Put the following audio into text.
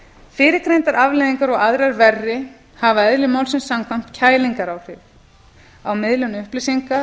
fyrrgreindar afleiðingar og aðrar verri hafa eðli málsins samkvæmt kælingaráhrif á miðlun upplýsinga